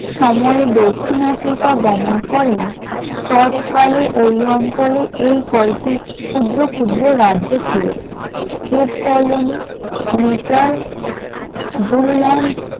সময় দক্ষিণ আফ্রিকা গমন করেন তৎকালে ওই অঞ্চলে এই কয়েকটি ক্ষুদ্র ক্ষুদ্র রাজ্য ছিল টিপকলোনি, মিটেল, জুলু ল্যান্ড ।